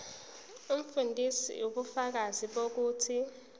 umfundisi ubufakazi bokuthi